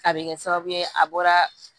A bɛ kɛ sababu ye a bɔra